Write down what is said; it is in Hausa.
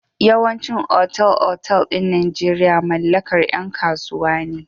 Yawaicin otal-otal ɗin Najeirya mallakar yan kasuwa ne.